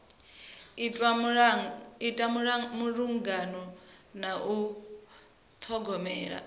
itwa malugana na u ṱhogomela